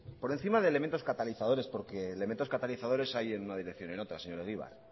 por encima de elementos catalizadores porque elementos catalizadores hay en una dirección y en otra señor egibar